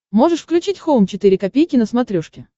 можешь включить хоум четыре ка на смотрешке